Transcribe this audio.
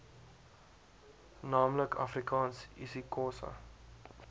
naamlik afrikaans isixhosa